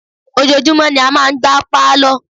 ojoojúmọ́ ni a máa ń gbá Pálọ̀.